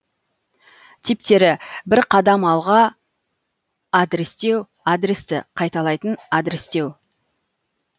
типтері бір қадам алға адрестеу адресті қайталайтын адрестеу